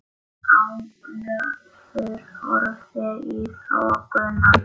Ólafur horfði í þokuna.